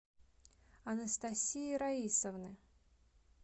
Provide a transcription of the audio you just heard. анастасии раисовны